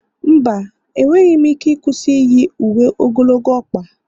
mba, enweghị m ike ịkwụsị iyi uwe ogologo ọkpa